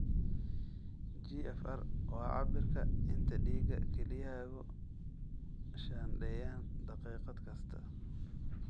GFR waa cabbirka inta dhiiga kelyahaagu shaandheeyaan daqiiqad kasta.